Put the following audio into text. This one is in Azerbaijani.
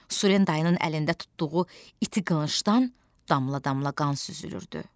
Surendayın əlində tutduğu iti qılıncdan damla-damla qan süzülürdü.